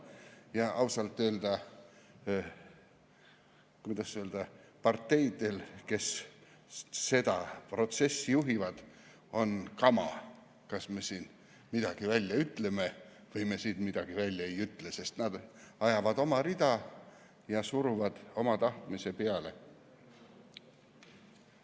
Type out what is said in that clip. Ja ausalt öeldes, kuidas öelda, on parteidel, kes seda protsessi juhivad, kama, kas me siin midagi välja ütleme või me midagi välja ei ütle, sest nad ajavad nagunii oma rida ja suruvad oma tahtmise peale.